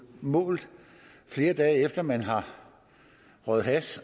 måles flere dage efter at man har røget hash